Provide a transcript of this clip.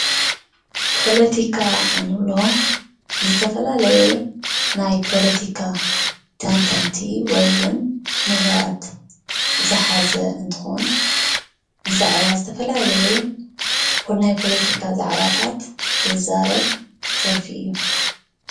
ፖለቲካ እንብሎ ዝተፈላለየ ናይ ፖለቲካ ተንተንቲ ወይ እዉን ሙሁራት ዝሓዘ እንትኾን ብዛዕባ ዝተፈላለየ ናይ ፖለቲካ ዛዕባታት ዝዛረብ ዘርፊ እዩ።